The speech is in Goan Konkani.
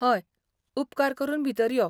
हय, उपकार करून भितर यो .